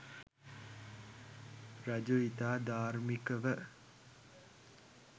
රජු ඉතා ධාර්මිකව,